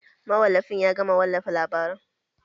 Mawallafin ya gama wallafa labaran